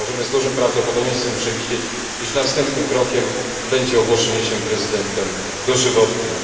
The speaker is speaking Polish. Możemy z dużym prawdopodobieństwem przewidzieć, iż następnym krokiem będzie ogłoszenie się prezydentem dożywotnim.